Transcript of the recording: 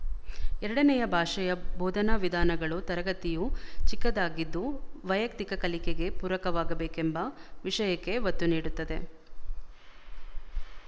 ಎರಡನೆಯ ಭಾಷೆಯ ಬೋಧನಾ ವಿಧಾನಗಳು ತರಗತಿಯು ಚಿಕ್ಕದಾಗಿದ್ದು ವೈಯಕ್ತಿಕ ಕಲಿಕೆಗೆ ಪೂರಕವಾಗಬೇಕೆಂಬ ವಿಶಯಕ್ಕೆ ಒತ್ತು ನೀಡುತ್ತದೆ